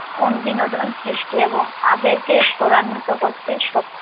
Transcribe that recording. ওর বিনোদন সৃষ্টি এবং আবেগকে ত্বরান্বিত করতে সক্ষম